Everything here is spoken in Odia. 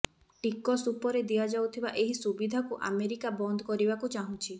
ଟିକସ ଉପରେ ଦିଆଯାଉଥିବା ଏହି ସୁବିଧାକୁ ଆମେରିକା ବନ୍ଦ କରିବାକୁ ଚାହୁଁଛି